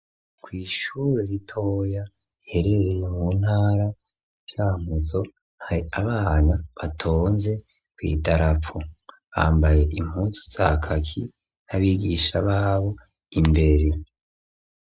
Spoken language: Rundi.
Kw'ishure ritoya riherereye mu ntara cankuzo hari abana batonze kw'idarapo. bambaye impuzu za kaki n'abigisha babo imbere.